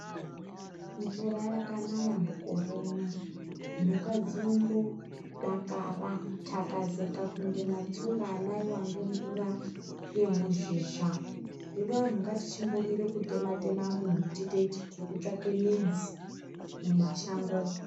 Mvura yakanaya mukoro uno mhuka dzinombodakara kutakazeka kunge matsunga anaiwa ngemvura yemuzhizha hino anhu ngatichimbomira kutema tema muti teiti tiri kutsvake midzi mumashango umu.